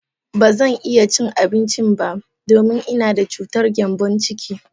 Ba zan iya cin abincin ba, domin ina da cutar gembon ciki.